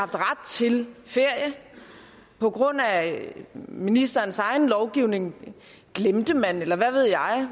ret til ferie på grund af ministerens egen lovgivning glemte man eller hvad ved jeg